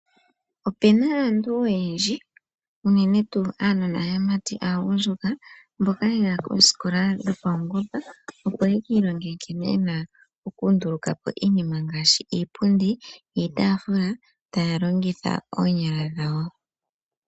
Opena aantu oyendji unene tuu uunona wuumati uugundjuka mboka yaya koosikola dhopawungomba opo yeki ilongele nkene yena oku ndulukapo iinima ngaashi iipundi niitafula taya longitha oonyala dhawo.